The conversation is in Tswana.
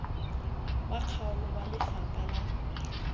wa kgaolo wa lefapha la